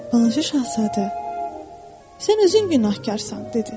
Balaca şahzadə, sən özün günahkarsan, dedi.